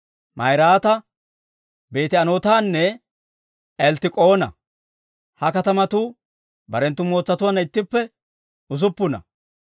Ma'iraata, Beeti-Anootanne Elttik'oona. Ha katamatuu barenttu mootsatuwaanna ittippe usuppuna.